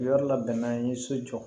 Yɔrɔ labɛnna n ye so jɔ